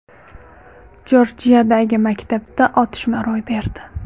Jorjiyadagi maktabda otishma ro‘y berdi.